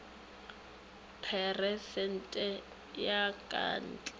peresente ya ka tlse ga